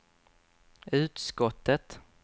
utskottet